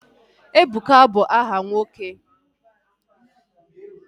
Ebuka bụ aha nwoke